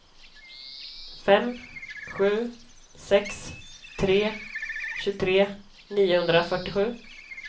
fem sju sex tre tjugotre niohundrafyrtiosju